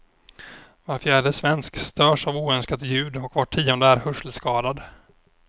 Var fjärde svensk störs av oönskat ljud och var tionde är hörselskadad.